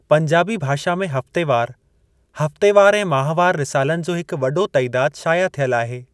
पंजाबी भाषा में हफ़्तेवार, हफ़्तेवार ऐं माहवार रिसालनि जो हिकु वॾो तइदादु शाया थियल आहे।